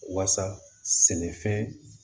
Wasa sɛnɛfɛn